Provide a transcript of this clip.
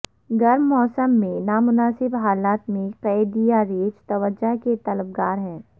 گرم موسم میں نامناسب حالات میں قید یہ ریچھ توجہ کے طلب گار ہیں